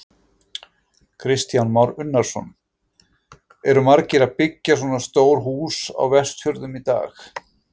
Kristján Már Unnarsson: Eru margir að byggja svona stór hús á Vestfjörðum í dag?